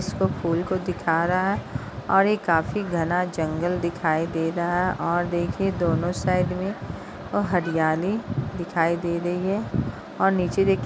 इसको फूल को दिखा रहा है और यह काफी घना जंगल दिखाई दे रहा है और देखिए दोनों साइड में और हरियाली दिखाई दे रही है और नीचे देखिये --